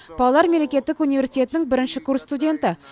павлодар мемлекеттік университетінің бірінші курс студенті